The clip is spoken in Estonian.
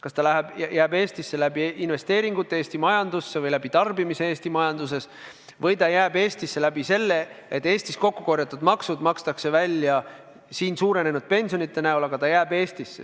Kas see jääb Eestisse investeeringutena Eesti majandusse või tänu tarbimisele või tänu sellele, et Eestis kokku kogutud maksuraha makstakse välja ka suurenenud pensionidena, aga see jääb Eestisse.